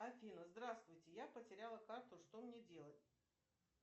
афина здравствуйте я потеряла карту что мне делать